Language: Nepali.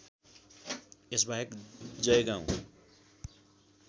यस बाहेक जयगाउँ